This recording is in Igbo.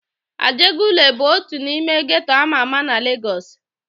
Ajegunle bụ otu n'ime geto ama ama na Legọs.